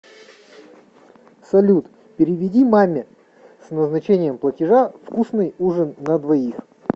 салют переведи маме с назначением платежа вкусный ужин на двоих